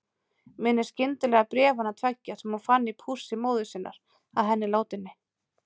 Minnist skyndilega bréfanna tveggja sem hún fann í pússi móður sinnar að henni látinni.